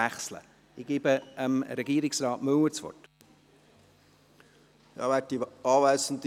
Ich gebe Regierungsrat Müller das Wort.